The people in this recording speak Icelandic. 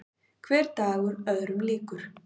Hver dagur öðrum líkur.